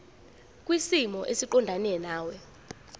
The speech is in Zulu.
kwisimo esiqondena nawe